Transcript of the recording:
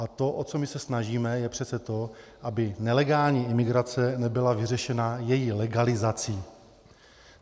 A to, o co my se snažíme, je přece to, aby nelegální imigrace nebyla vyřešena její legalizací.